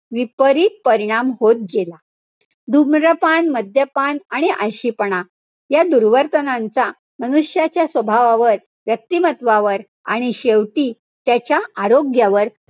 विपरीत परिणाम होत गेला. धूम्रपान, मद्यपान आणि आळशीपणा या दुर्वर्तनाचा मनुष्याच्या स्वभावावर व्यक्तिमत्वावर आणि शेवटी त्याच्या आरोग्यावर,